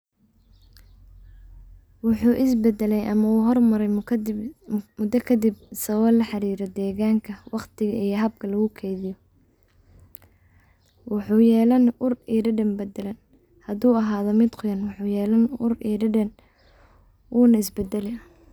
Wuxu isbadalay ama hormaray mudo kadib sawaba laxarira deganka, waqtiga iyo habka lugukeydiyo. Wuxu yelani uur ama dadan badalan hadu ahado mid qoyan wuxu yelani uur iyo dadan wuna isbadali.